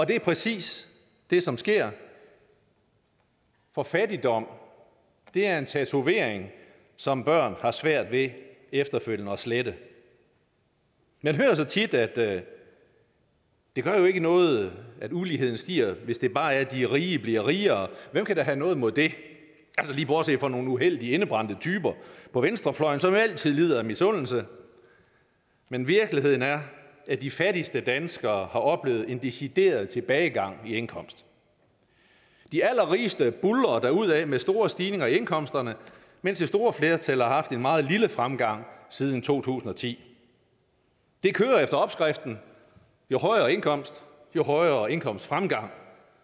det er præcis det som sker for fattigdom er en tatovering som børn har svært ved efterfølgende at slette man hører så tit at det jo ikke gør noget at uligheden stiger hvis det bare er de rige der bliver rigere hvem kan da have noget imod det altså lige bortset fra nogle uheldige indebrændte typer på venstrefløjen som altid lider af misundelse men virkeligheden er at de fattigste danskere har oplevet en decideret tilbagegang i indkomst de allerrigeste buldrer derudad med store stigningerne i indkomsterne mens det store flertal har haft en meget lille fremgang siden to tusind og ti det kører efter opskriften jo højere indkomst jo højere indkomstfremgang